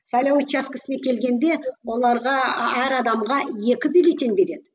сайлау учаскесіне келгенде оларға әр адамға екі бюллетень береді